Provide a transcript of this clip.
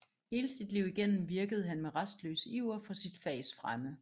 Hele sit liv igennem virkede han med rastløs iver for sit fags fremme